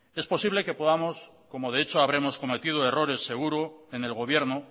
es posible que podamos como de hecho habremos cometido errores seguro en el gobierno